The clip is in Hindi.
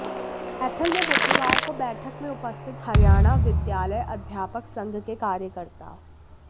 कैथल में बुधवार को बैठक में उपस्थित हरियाणा विद्यालय अध्यापक संघ के कार्यकर्ता